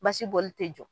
Basiboli tɛ jɔ